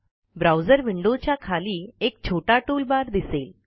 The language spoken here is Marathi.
ब्राऊजर विंडोच्या खाली एक छोटा टूल बार दिसेल